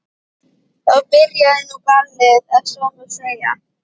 Þá byrjaði nú ballið ef svo má segja.